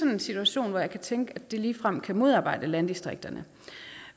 en situation hvor jeg kan tænke at det ligefrem kan modarbejde landdistrikterne